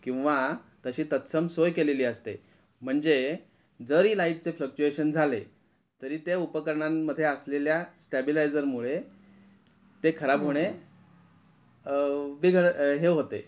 किंव्हा तशी तत्संग सोय केली असते म्हणजे जरी लाईट चे फ्लक्चुएशन झाले तरी ते उपकरणान मध्ये असलेल्या स्टॅबिलायझर मुळे ते खराब होणे अ बेधड अ हे होते.